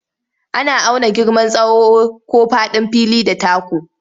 Ana auna girman tsawo ko faɗin fili da taku.